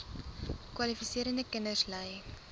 kwalifiserende kinders ly